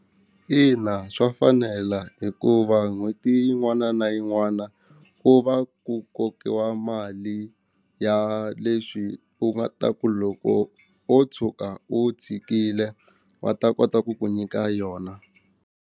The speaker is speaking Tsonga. Ina, swa fanela hikuva n'hweti yin'wana na yin'wana ku va ku kokiwa mali ya leswi u nga ta ku loko wo tshuka u tshikile va ta kota ku ku nyika yona.